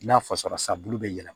N'a fɔsɔnnasa bulu bɛ yɛlɛma